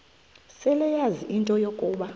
seleyazi into yokuba